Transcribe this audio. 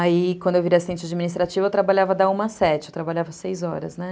Aí quando eu virei assistente administrativa eu trabalhava da uma às sete, eu trabalhava seis horas, né?